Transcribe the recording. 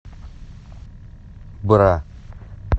бра